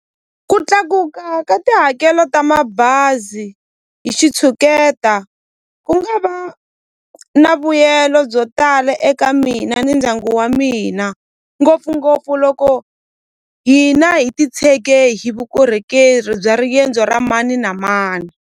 Ku tlakuka ka tihakelo ta mabazi hi xitshuketa ku nga va na vuyelo byo tala eka mina ni ndyangu wa mina ngopfungopfu loko hina hi titshege hi vukorhokeri bya riendzo ra mani na mani.